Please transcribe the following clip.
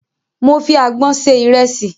Mo fi àgbọn sẹ ìrẹsì.